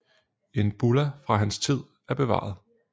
En bulla fra hans tid er bevaret